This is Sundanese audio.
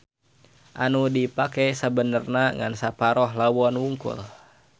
Anu dipake sabenerna ngan saparoh lawon hungkul.